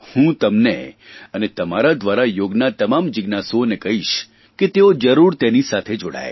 હું તમને અને તમારા દ્વારા યોગના તમામ જીજ્ઞાસુઓને કહીશ કે તેઓ જરૂર તેની સાથે જોડાય